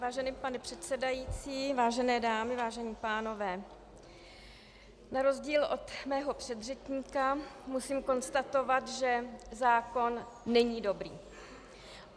Vážený pane předsedající, vážené dámy, vážení pánové, na rozdíl od mého předřečníka musím konstatovat, že zákon není dobrý.